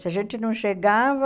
Se a gente não chegava,